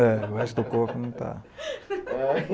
É, o resto do corpo não está. Aí